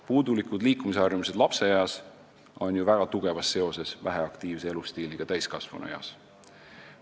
Puudulikud liikumisharjumused lapseeas on ju väga tugevas seoses väheaktiivse elustiiliga täiskasvanueas.